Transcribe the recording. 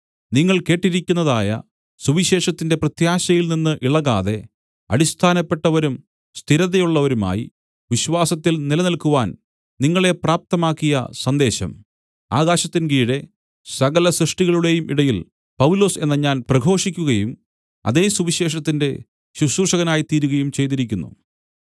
നിങ്ങൾ കേട്ടിരിക്കുന്നതായ സുവിശേഷത്തിന്റെ പ്രത്യാശയിൽനിന്ന് ഇളകാതെ അടിസ്ഥാനപ്പെട്ടവരും സ്ഥിരതയുള്ളവരുമായി വിശ്വാസത്തിൽ നിലനിൽക്കുവാൻ നിങ്ങളെ പ്രാപ്തമാക്കിയ സന്ദേശം ആകാശത്തിൻകീഴെ സകലസൃഷ്ടികളുടേയും ഇടയിൽ പൗലൊസ് എന്ന ഞാൻ പ്രഘോഷിക്കുകയും അതേ സുവിശേഷത്തിന്റെ ശുശ്രൂഷകനായി തീരുകയും ചെയ്തിരിക്കുന്നു